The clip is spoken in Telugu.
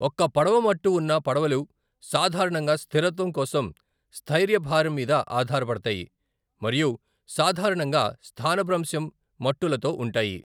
ఒక్క పడవ మట్టు వున్న పడవలు సాధారణంగా స్థిరత్వం కోసం స్థైర్య భారం మీద ఆధారపడతాయి మరియు సాధారణంగా స్థానభ్రంశం మట్టులతో ఉంటాయి.